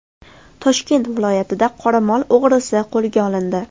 Toshkent viloyatida qoramol o‘g‘risi qo‘lga olindi.